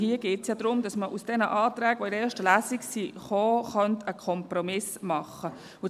Hier geht es ja darum, dass man aus den Anträgen, die in der ersten Lesung gekommen sind, einen Kompromiss machen kann.